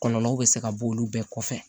Kɔlɔlɔw bɛ se ka bɔ olu bɛɛ kɔfɛ